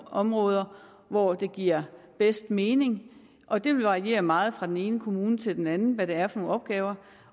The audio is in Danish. områder hvor det giver bedst mening og det vil variere meget fra den ene kommune til den anden med det er for nogle opgaver